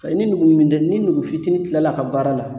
Paseke ni nugu dimi tɛ ni nugu fitinin tilal'a ka baara la